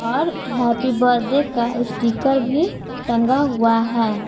और happy birthday का sticker भी टंगा हुआ है।